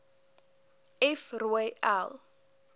f rooi l